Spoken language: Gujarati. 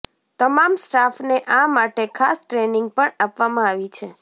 તમામ સ્ટાફને આ માટે ખાસ ટ્રેનિંગ પણ આપવામાં આવી છે